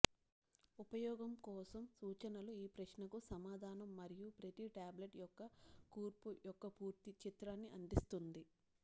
ఉపయోగం కోసం సూచనలు ఈ ప్రశ్నకు సమాధానం మరియు ప్రతి టాబ్లెట్ యొక్క కూర్పు యొక్క పూర్తి చిత్రాన్ని అందిస్తుంది